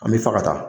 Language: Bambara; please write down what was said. An bɛ fa ka taa